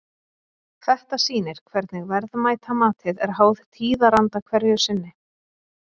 Þetta sýnir hvernig verðmætamatið er háð tíðaranda hverju sinni.